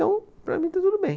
Então, para mim está tudo bem.